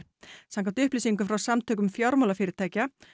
samkvæmt upplýsingum frá Samtökum fjármálafyrirtækja